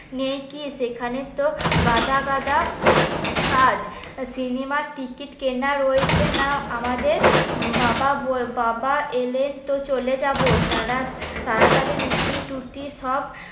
নেই কি এখানে তো গাদা গাদা কাজ। সিনেমার টিকিট কেনা রয়েছে না আমাদের? বাবা বাবা এলে তো চলে যাব তাড়া তাড়াতাড়ি রুটি টুটি সব